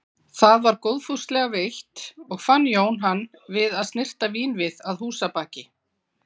Það var góðfúslega veitt og fann Jón hann við að snyrta vínvið að húsabaki.